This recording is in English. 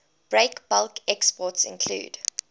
breakbulk exports include